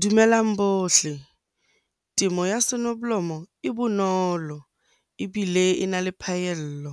Dumelang bohle. Temo ya sonoblomo e bonolo ebile e na le phaello.